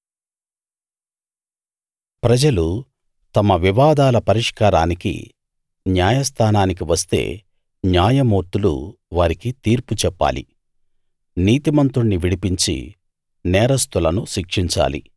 ప్రజలు తమ వివాదాల పరిష్కారానికి న్యాయస్థానానికి వస్తే న్యాయమూర్తులు వారికి తీర్పు చెప్పాలి నీతిమంతుణ్ణి విడిపించి నేరస్తులను శిక్షించాలి